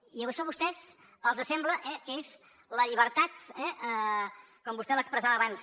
i això a vostès els sembla eh que és la llibertat com vostè l’expressava abans